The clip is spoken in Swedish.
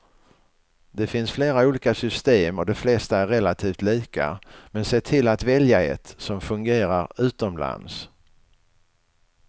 Det finns flera olika system och de flesta är relativt lika, men se till att välja ett som fungerar utomlands.